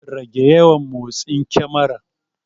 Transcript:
Rage yawan motsin kemarar.